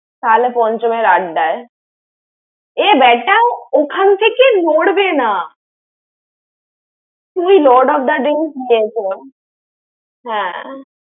তাহলে পঞ্চমের আড্ডায়। এ বেটাও ওখান থেকে নড়বে না। তুই Lord of the Drinks নিয়ে যেতে বল।